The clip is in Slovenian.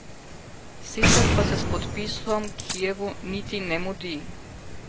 Sicer pa se s podpisom Kijevu niti ne mudi.